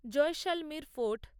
Jaisalmer fort